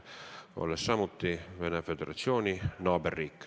Me oleme ju samuti Venemaa Föderatsiooni naaberriik.